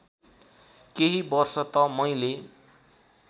केही वर्ष त मैले